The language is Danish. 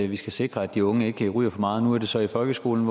vi skal sikre at de unge ikke ryger for meget nu er det så i folkeskolen